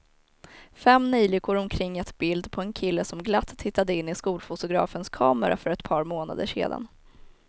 Fem neljikor omkring ett bild på en kille som glatt tittade in i skolfotografens kamera för ett par månader sedan.